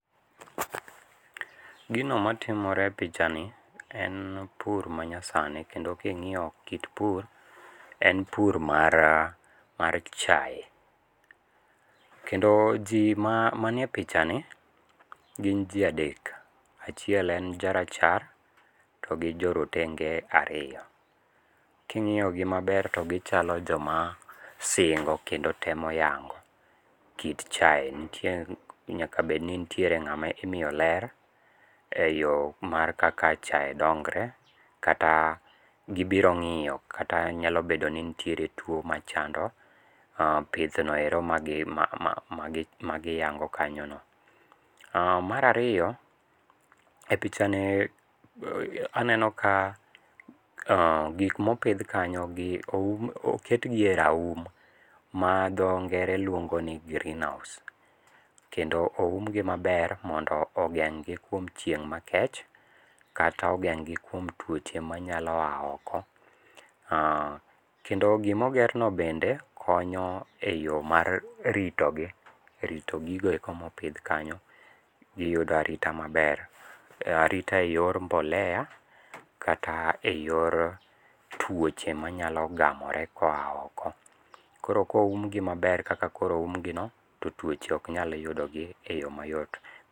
Gino matimore e pichani en pur manyasani, kendo ka ingíyo kit pur en pur mar mar chae. Kendo ji ma manie picha ni gin ji adek. Achiel en ja rachar, to gi jo rotenge ariyo. Ka ingíyo gi maber to gichalo joma singo kendo temo yango kit chae, nitie nyaka bed ni nitie ngáma imiyo ler e yo mar kaka chae dongre, kata gibiro ngíyo, kata nyalo bedo ni nitiere two machando pith no ero magi ma ma ma magi yango kanyo no. um ,Mar ariyo, e pichani aneno ka um gik ma opidh kanyo gi oum, oketgi e raum, ma dho ngere luongo ni greenhouse. Kendo oumgi maber mondo ogeng'gi kuom chieng' makech, kata ogeng'gi kuom tuoche manyalo a oko. Kendo gima ogerno bende, konyo e yo mar rito gi , rito gigo eko ma opidh kanyo. Giyudo arita maber. Arita e yor mbolea, kata e yor twoche manyalo gamore koa oko. Koro koum gi maber kaka koro oum gi no to twoche ok nyal yudogi e yo mayot.